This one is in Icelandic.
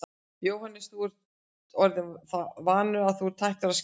Jóhannes: En þú ert orðinn það vanur að þú ert hættur að skera þig?